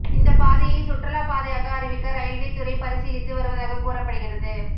இந்தப்பாதையை சுற்றுலா பாதையாக அறிவிக்க ரயில்வே துறை பரிசீலித்து வருவதாக கூறப்படுகிறது